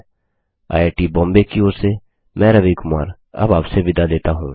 IIT Bombay की ओर से मैं रवि कुमार अब आपसे विदा लेता हूँ